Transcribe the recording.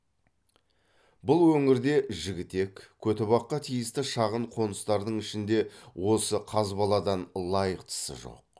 бұл өңірде жігітек көтібаққа тиісті шағын қоныстардың ішінде осы қазбаладан лайықтысы жоқ